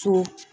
So